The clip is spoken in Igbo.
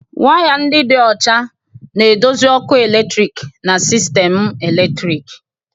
Waya ndị dị ọcha na-eduzi ọkụ eletrik na sistemu eletriki.